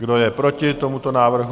Kdo je proti tomuto návrhu?